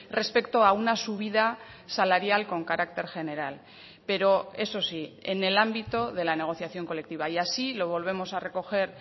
respecto a una subida salarial con carácter general pero eso sí en el ámbito de la negociación colectiva y así lo volvemos a recoger